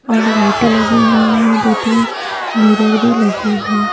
और लाइटें लगी हुई हैं दो-तीन मिरर भी लगी है।